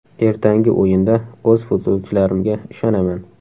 Ertangi o‘yinda o‘z futbolchilarimga ishonaman.